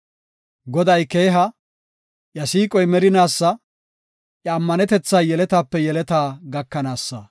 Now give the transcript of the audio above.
Goday keeha; iya siiqoy merinaasa; iya ammanetethay yeletape yeletaa gakanaasa.